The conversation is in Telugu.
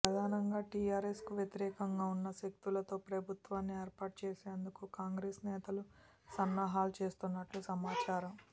ప్రధానంగా టీఆర్ఎస్ కు వ్యతిరేకంగా ఉన్న శక్తులతో ప్రభుత్వాన్ని ఏర్పాటు చేసేందుకు కాంగ్రెస్ నేతలు సన్నాహాలు చేస్తున్నట్టు సమాచారం